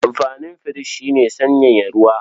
Amfanin firich shi ne sanyaya ruwa.